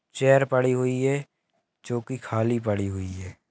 Chair पढ़ी हुई है जो की खाली पढ़ी हुई है.